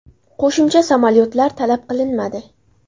Qo‘shimcha samolyotlar talab qilinmadi.